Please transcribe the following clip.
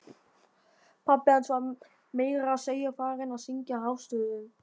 Pabbi hans var meira að segja farinn að syngja hástöfum!